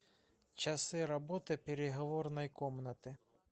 часы работы переговорной комнаты